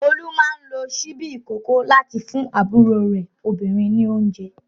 Olú máa ń lo ṣíbí ìkókó láti fún àbúrò rẹ̀ obìnrin ní oúnjẹ.